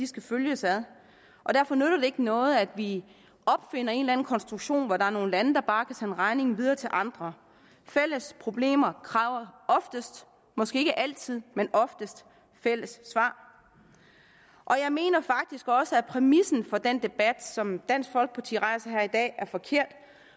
skal følges ad og derfor nytter det ikke noget at vi opfinder en eller anden konstruktion hvor der er nogle lande der bare kan sende regningen videre til andre fælles problemer kræver måske ikke altid men oftest fælles svar jeg mener faktisk også at præmissen for den debat som dansk folkeparti rejser her i dag er forkert